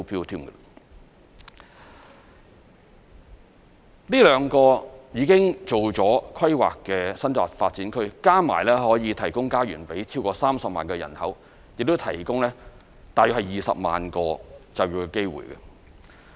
這兩個已進行規劃的新界發展區，加起來合共可以提供家園予超過30萬人口，亦提供大約20萬個就業機會。